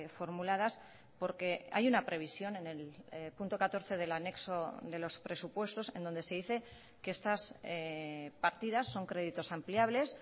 formuladas porque hay una previsión en el punto catorce del anexo de los presupuestos en donde se dice que estas partidas son créditos ampliables